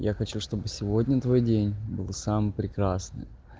я хочу чтобы сегодня твой день был самый прекрасный